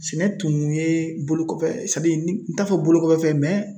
Sɛnɛ tun ye bolo kɔfɛ n t'a fɔ bolokofɛ